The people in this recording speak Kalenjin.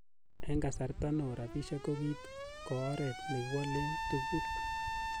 En kasarta neo, rabishek ko kiit ko oret nekiwolen tuguk.